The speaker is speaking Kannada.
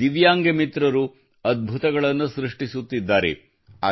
ದಿವ್ಯಾಂಗ ಮಿತ್ರರು ಅದ್ಭುತಗಳನ್ನು ಸೃಷ್ಟಿಸುತ್ತಿದ್ದಾರೆ